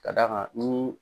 K'a d'a kan nii